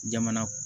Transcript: Jamana